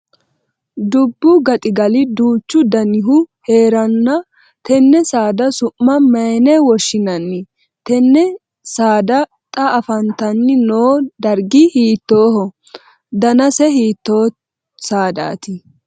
Dubu gaxigali duuchu dannihu heeranna tenne saada su'ma mayine woshinnanni? Tinne saada xa afantanni noo dargi hiittooho? Dannase hiittoo sadaati?